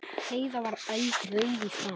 Heiða var eldrauð í framan.